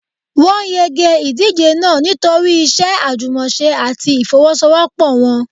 Wọ́n yege ìdíje náà nítorí iṣẹ́ àjùmọ̀ṣe àti ìfọ́wọ́sọwọ́pọ̀ wọn.